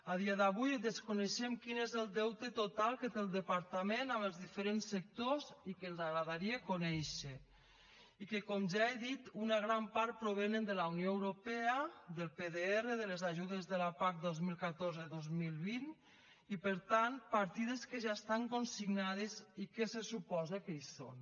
a dia d’avui desconeixem quin és el deute total que té el departament amb els diferents sectors i que ens agradaria conèixer i que com ja he dit una gran part provenen de la unió europea del pdr de les ajudes de la pac dos mil catorze dos mil vint i per tant partides que ja estan consignades i que se suposa que hi són